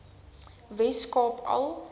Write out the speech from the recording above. wes kaap al